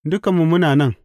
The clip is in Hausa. Dukanmu muna nan!